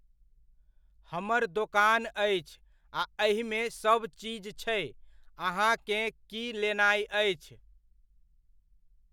हमर दोकान अछि आ एहिमे सब चीज छै। अहाँकेँ की लेनाइ अछि?